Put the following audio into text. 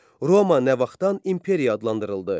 Roma nə vaxtdan imperiya adlandırıldı?